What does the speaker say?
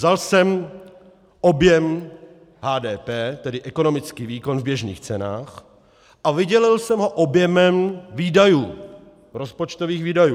Vzal jsem objem HDP, tedy ekonomický výkon v běžných cenách, a vydělil jsem ho objemem výdajů, rozpočtových výdajů.